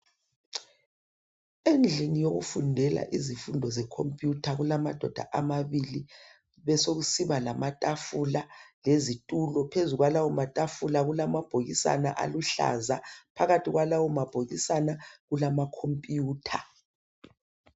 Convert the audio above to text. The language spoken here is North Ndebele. endlini yokufundela izifundo ze computer kulamadoda amabili besokusiba lamatafula lezitulo phezu kwalawo matafula kulamabhokisana aluhlaza phakathi kwalawo mabhokisana kulama computer